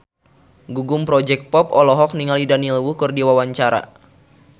Gugum Project Pop olohok ningali Daniel Wu keur diwawancara